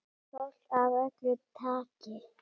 Fólk af öllu tagi.